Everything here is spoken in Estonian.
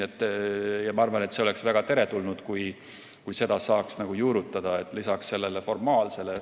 Ja ma arvan, et see oleks väga teretulnud, kui seda saaks juurutada lisaks formaalsele.